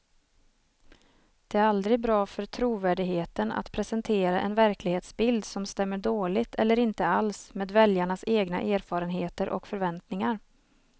Det är aldrig bra för trovärdigheten att presentera en verklighetsbild som stämmer dåligt eller inte alls med väljarnas egna erfarenheter och förväntningar.